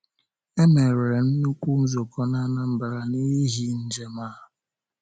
E mere nnukwu nzukọ na Anambra n’ihi njem a.